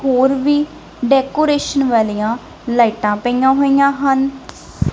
ਹੋਰ ਵੀ ਡੈਕੋਰੇਸ਼ਨ ਵਾਲੀਆਂ ਲਾਈਟਾਂ ਪਈਆਂ ਹੋਈਆਂ ਹਨ।